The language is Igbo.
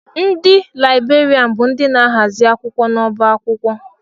Ndị Laịberian bụ ndị na-ahazi akwụkwọ n'ọbá akwụkwọ.